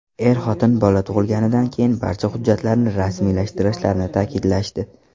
Er-xotin bola tug‘ilganidan keyin barcha hujjatlarni rasmiylashtirishlarini ta’kidlashdi.